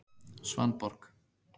Svanborg